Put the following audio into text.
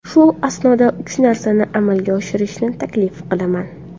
Shu asnoda uch narsani amalga oshirishni taklif qilaman.